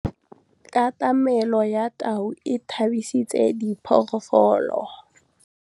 Katamêlô ya tau e tshabisitse diphôlôgôlô.